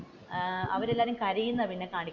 അവർ എല്ലാം കരയുന്നതാണ് പിന്നെ കാണിക്കുന്നത്.